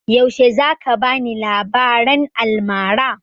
Yaushe za ka bani labaran almara?